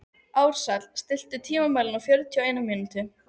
Ársæll, stilltu tímamælinn á fjörutíu og eina mínútur.